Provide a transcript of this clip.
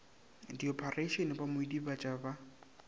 diophareišene ba mo idibatša ba